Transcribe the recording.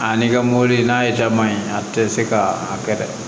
A n'i ka mobili n'a ye jaba ye a tɛ se ka a kɛ dɛ